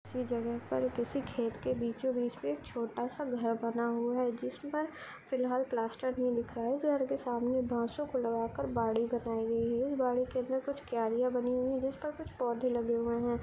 किसी जगह पर किसी खेत के बीचो-बीच पे एक छोटा सा घर बना हुआ है जिस पर फिलाल प्लास्टर नहीं दिख रहा है घर के सामने बांसों को लगा कर बाड़ी बनाई गई है इस बाड़ी के अंदर कुछ क्यारिया बनी हुई है जिस पर कुछ पौधे लगे हुए है।